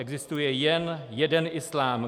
Existuje jen jeden islám.